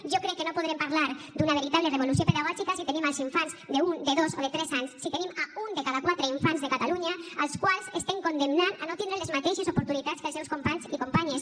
jo crec que no podrem parlar d’una veritable revolució pedagògica si tenim els infants d’un de dos o de tres anys si tenim un de cada quatre infants de catalunya als quals estem condemnant a no tindre les mateixes oportunitats que els seus companys i companyes